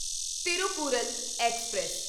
Thirukkural express